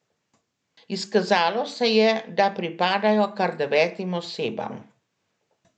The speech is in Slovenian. Izkazalo se je, da pripadajo kar devetim osebam.